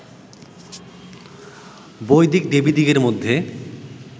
বৈদিক দেবীদিগের মধ্যে